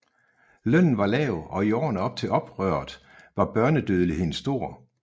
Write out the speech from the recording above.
Lønnen var lav og i årene op til oprøret var børnedødeligheden stor